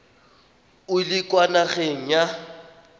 o le kwa nageng ya